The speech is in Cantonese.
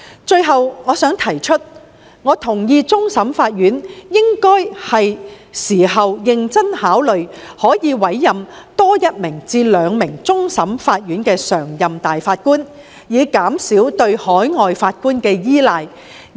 最後，我同意終審法院是時候認真考慮多委任一至兩名終審法院常任大法官，以減少對海外法官的依賴。